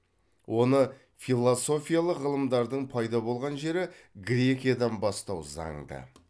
оны философиялық ғылымдардың пайда болған жері грекиядан бастау занды